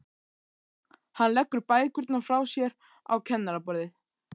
Hann leggur bækurnar frá sér á kennaraborðið.